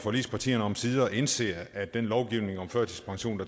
forligspartierne omsider indser at den lovgivning om førtidspension